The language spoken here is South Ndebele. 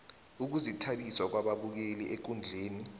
ukuzithabisa kwababukeli ekundleni